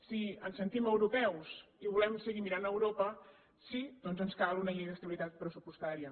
si ens sentim europeus i volem seguir mirant a europa sí doncs ens cal una llei d’estabilitat pressupostària